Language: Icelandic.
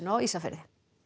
á Ísafirði